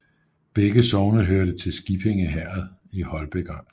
Begge sogne hørte til Skippinge Herred i Holbæk Amt